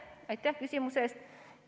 Aitäh küsimuse eest!